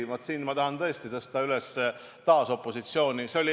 Ja, vaat, siin ma tahan tõesti taas tõsta esile opositsiooni.